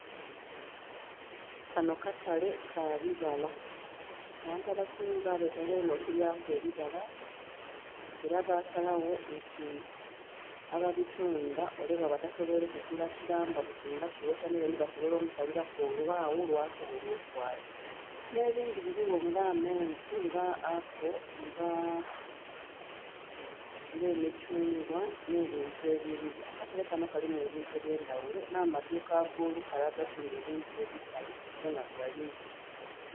Kanho katale kabibala, abantu abasinga batanhira okulyaku ebibala era basalagho nti ababitundha ole bwaba tasobweire kugula kilamba buti nga kighota meloni basoboola omusaliraku olwaghu lwasoboola atwala nhe bindhi biligho nga amenvu nga apoo nga emithungwa nhe bintu ebilungi. Akatale kanho kalimu ebintu ebyendaghulo nhe amadhuuka agolukale akatundhu ebintu ebikalu gonha galimu.